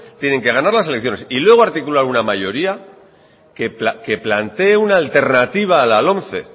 tienen que ganar las elecciones y luego articular una mayoría que plantee una alternativa a la lomce